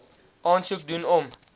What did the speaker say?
aansoek doen om